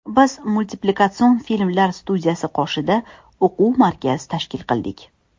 Biz Multiplikatsion filmlar studiyasi qoshida o‘quv markaz tashkil qildik.